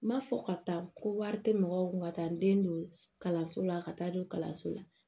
N m'a fɔ ka taa ko wari tɛ mɔgɔw kun ka taa n den don kalanso la ka taa don kalanso la